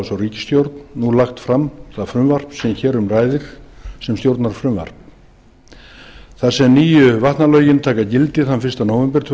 svo ríkisstjórn nú lagt fram það frumvarp sem hér um ræðir sem stjórnarfrumvarp þar sem nýju vatnalögin taka gildi þann fyrsta nóvember tvö